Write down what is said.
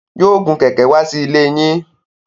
Yóò gun kẹ̀ẹ̀kẹ́ wá sílée yín.